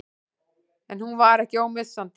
En hún var ekki ómissandi.